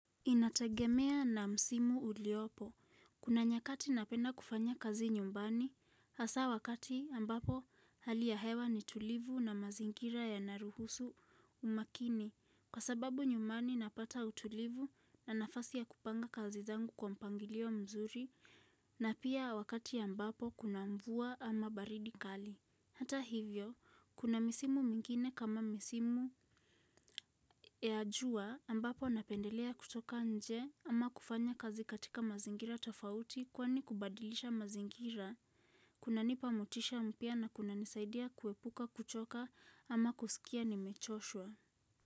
Inatagemea na msimu uliopo. Kuna nyakati napenda kufanya kazi nyumbani, hasa wakati ambapo halia hewa ni tulivu na mazingira yanaruhusu umakini kwa sababu nyumani napata utulivu na nafasi ya kupanga kazi zangu kwa mpangilio mzuri na pia wakati ambapo kuna mvua ama baridi kali. Hata hivyo, kuna misimu mingine kama misimu ya jua ambapo napendelea kutoka nje ama kufanya kazi katika mazingira tofauti kwani kubadilisha mazingira. Kunanipa motisha mpya na kunanisaidia kuhepuka kuchoka ama kusikia ni mechoshwa.